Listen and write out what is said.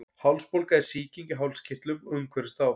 Hálsbólga er sýking í hálskirtlum og umhverfis þá.